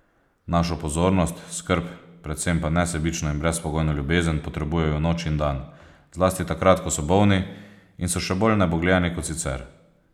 Našo pozornost, skrb, predvsem pa nesebično in brezpogojno ljubezen potrebujejo noč in dan, zlasti takrat, ko so bolni in so še bolj nebogljeni kot sicer.